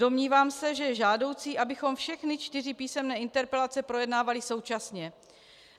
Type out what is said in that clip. Domnívám se, že je žádoucí, abychom všechny čtyři písemné interpelace projednávali současně.